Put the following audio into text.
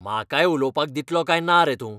म्हाकाय उलोवपाक दितलो काय ना रे तूं?